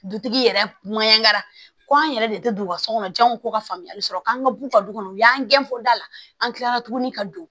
Dutigi yɛrɛ kara ko an yɛrɛ de tɛ don u ka so kɔnɔ janw ko ka faamuyali sɔrɔ k'an ka b'u ka du kɔnɔ u y'an gɛn fɔ da la an kilala tuguni ka don